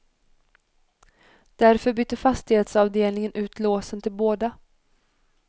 Därför bytte fastighetsavdelningen ut låsen till båda.